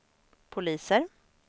poliser